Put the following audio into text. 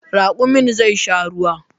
Raƙumin zai sha ruwa